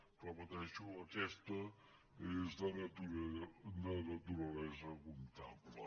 ho repeteixo aquesta és de naturalesa comptable